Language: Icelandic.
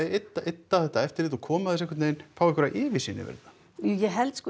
ydda þetta eftirlit og koma þessu einhvern veginn fá einhverja yfirsýn yfir þetta ég held sko